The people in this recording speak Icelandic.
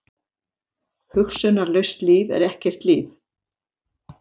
Hugsunarlaust líf er ekkert líf.